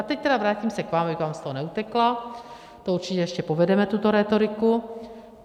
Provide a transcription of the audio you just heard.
A teď tedy vrátím se k vám, abych vám z toho neutekla, to určitě ještě povedeme, tuto rétoriku.